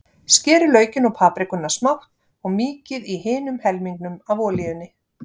Skerið laukinn og paprikuna smátt og mýkið í hinum helmingnum af olíunni.